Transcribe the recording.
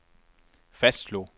fastslog